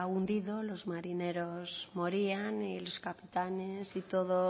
hundido los marineros morían y los capitanes y todo